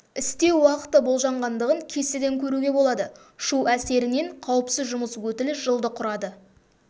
істеу уақыты болжанғандығын кестеден көруге болады шу әсерінен қауіпсіз жұмыс өтілі жылды құрады